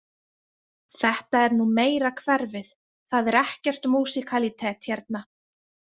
Þetta er nú meira hverfið, það er ekkert músíkalítet hérna.